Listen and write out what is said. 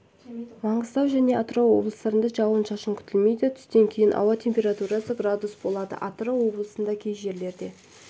маңғыстау және атырау облыстарында жауын-шашын күтілмейді түстен кейін ауа температурасы градус болады атырау облысында кей жерлерде